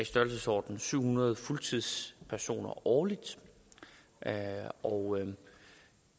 størrelsesordenen syv hundrede fuldtidspersoner årligt og